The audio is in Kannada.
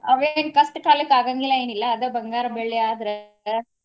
ಆವೇನ ಕಷ್ಟ ಕಾಲಕ್ಕ ಆಗಾಂಗಿಲ್ಲಾ ಎನಿಲ್ಲಾ ಆದ ಬಂಗಾರಾ ಬೆಳ್ಳಿ ಆದ್ರ.